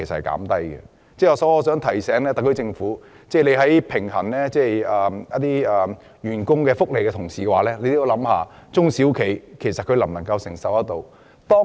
我想提醒特區政府，在考慮員工福利的同時，亦要顧及中小企的承受能力。